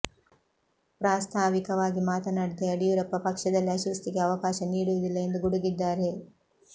ಪ್ರಾಸ್ತಾವಿಕವಾಗಿ ಮಾತನಾಡಿದ ಯಡಿಯೂರಪ್ಪ ಪಕ್ಷದಲ್ಲಿ ಅಶಿಸ್ತಿಗೆ ಅವಕಾಶ ನೀಡುವುದಿಲ್ಲ ಎಂದು ಗುಡುಗಿದ್ದಾರೆ